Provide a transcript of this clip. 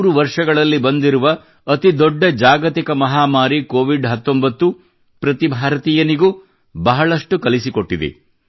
ನೂರು ವರ್ಷಗಳಲ್ಲಿ ಬಂದಿರುವ ಅತೀ ದೊಡ್ಡ ಜಾಗತಿಕ ಮಹಾಮಾರಿ ಕೋವಿಡ್ 19 ಪ್ರತೀ ಭಾರತೀಯನಿಗೂ ಬಹಳಷ್ಟು ಕಲಿಸಿಕೊಟ್ಟಿದೆ